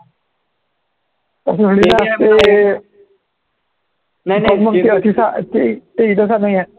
ते नाहीये